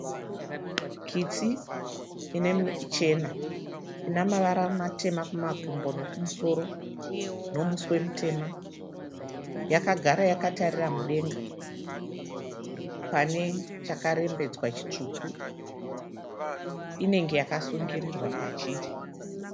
Kitsi chena ina mavara matema kumakumbo nokumusoro nomuswe mutema. Yakagara yakatarira mudenga pane chakarembedzwa chitsvuku. Inenge yakasungirirwa pachiri.